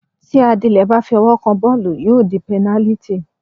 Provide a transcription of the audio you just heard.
Tí Adílẹ́ bá fi ọwọ́ kan bọ́ọ̀lù, yóò di pẹnálítì.